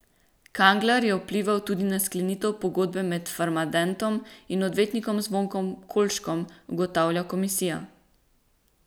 Kangler je vplival tudi na sklenitev pogodbe med Farmadentom in odvetnikom Zvonkom Kolškom, ugotavlja komisija.